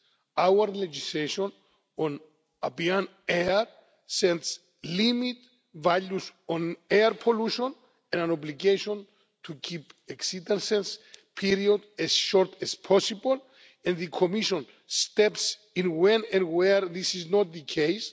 Our legislation on ambient air sets limit values on air pollution, and an obligation to keep exceedance periods as short as possible, and the Commission steps in when and where this is not the case.